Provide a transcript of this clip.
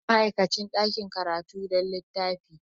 Haɗu da ma'aikacin ɗakin karatu don littafin.